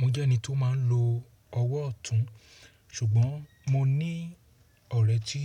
Mo jẹ́ ẹni tó máa ń lo ọwọ́ ọ̀tún, ṣùgbọ́n mo ní ọ̀rẹ́ tí